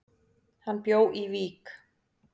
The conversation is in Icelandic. Hann bjó í Vík.